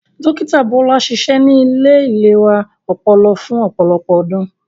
Dókítà Bọ́lá ṣiṣẹ ní ilé ìlera ọpọlọ fún ọ̀pọlọpọ̀ ọdún